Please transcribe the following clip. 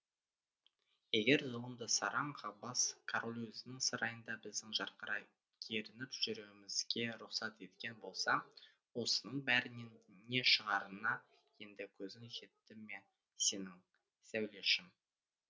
егер зұлым да сараң қақбас король өзінің сарайында біздің жарқырай керініп жүруімізге рұқсат еткен болса осының бәрінен не шығарына енді көзің жетті ме сенің сәулешім